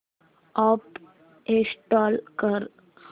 app install कर